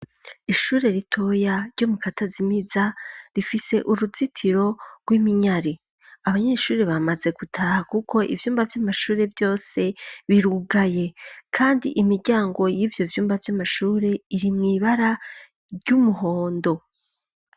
Ishure ritoya ryo mu katazimiza rifise uruzitiro rw'iminyari ,abanyeshuri bamaze gutaha kuko ivyumba vy'amashure vyose birugaye kandi imiryango y’ivyo vyumba vy'amashuri iri mwibara ry'umuhondo.